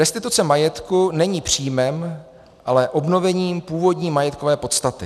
Restituce majetku není příjmem, ale obnovením původní majetkové podstaty.